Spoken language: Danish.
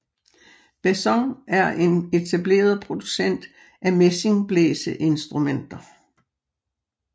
Besson er en etableret producent af messingblæseinstrumenter